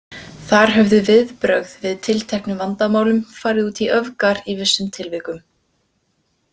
Þar höfðu viðbrögð við tilteknum vandamálum farið út í öfgar í vissum tilvikum.